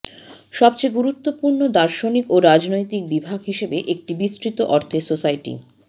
সবচেয়ে গুরুত্বপূর্ণ দার্শনিক ও রাজনৈতিক বিভাগ হিসাবে একটি বিস্তৃত অর্থে সোসাইটি